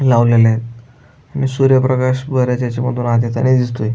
लावलेलेत आणि सूर्य प्रकाश बराच याच्यामधून आत येतानी दिसतोय.